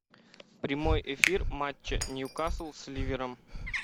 прямой эфир матча ньюкасл с ливером